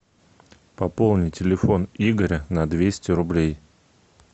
пополни телефон игоря на двести рублей